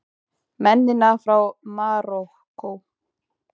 Mennina frá Marokkó!